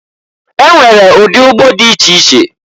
E nwere ụdị ụgbọ dị iche iche.